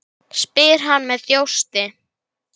Þau hafa mikið misst.